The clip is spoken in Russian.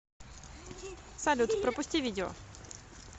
салют пропусти видео